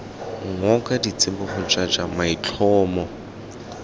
ngoka ditsibogo j j maitlhomo